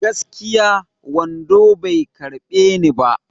Gaskiya, wando bai karɓe ni ba.